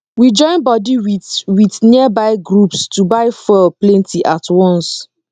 we join body with with nearby groups to buy fuel plenty at once